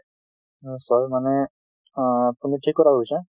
নিশ্চয়। মানে আপোনি ঠিক কথা কৈছে।